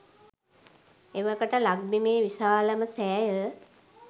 එවකට ලක්බිමේ විශාලම සෑය